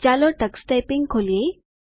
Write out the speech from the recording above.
ચાલો Tux typing ખોલીએ